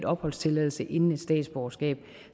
opholdstilladelse inden et statsborgerskab